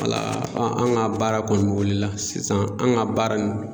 an ka baara kɔni wulila sisan an ka baara nin